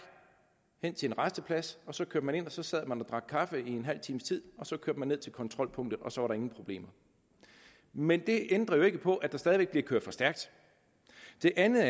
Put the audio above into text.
hen til en rasteplads og så kørte man ind og så sad man og drak kaffe en halv times tid og så kørte man ned til kontrolpunktet og så var der ingen problemer men det ændrer jo ikke på at der stadig væk bliver kørt for stærkt det andet